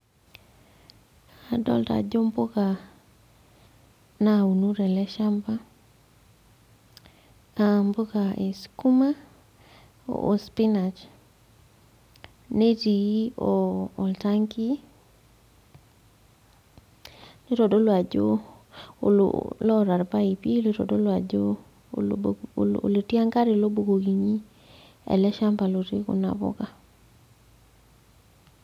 Adolta ajo impuka nauno tele shamba aa mpuka ee sukuma oo pinach netii oh oltanki nitodolu ajo olo loota irpaipi loitoodolu ajo olobo olotii enkare lobukokini ele shamba lotii kuna puka.